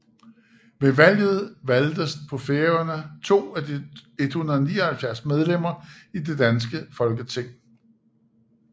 Ved valget valgtes på Færøerne 2 af de 179 medlemmer i det danske Folketing